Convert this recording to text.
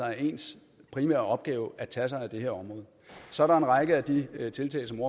er ens primære opgave at tage sig af det her område så er der en række af de tiltag som